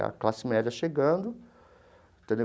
A classe média chegando, entendeu?